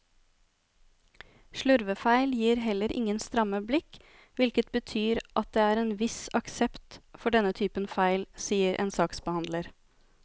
Slurvefeil gir heller ingen stramme blikk, hvilket betyr at det er en viss aksept for denne typen feil, sier en saksbehandler.